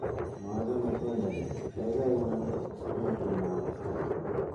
Machame tiendo ni kaikai inan simatun agas kora